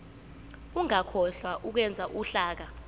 ungakhohlwa ukwenza uhlaka